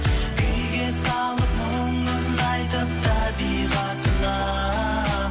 күйге салып мұңын айтып табиғатына